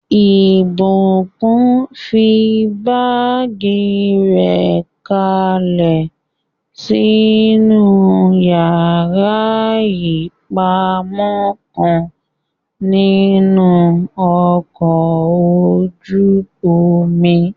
Ìbùkún fi báàgì rẹ̀ kalẹ̀ sínú yàrá ìpamọ́ kan nínú ọkọ̀ ojú-omi